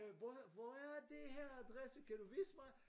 Øh hvor er hvor er det her adresse kan du vise mig?